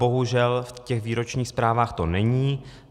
Bohužel v těch výročních zprávách to není.